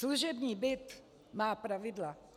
Služební byt má pravidla.